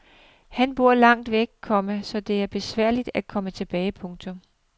Han bor langt væk, komma så det er for besværligt at komme tilbage. punktum